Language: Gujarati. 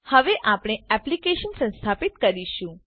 હવે આપણે એક્લીપ્સ સંસ્થાપીત કરીશું